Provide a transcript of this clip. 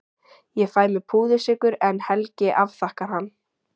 Ég fæ mér púðursykur en Helgi afþakkar hann.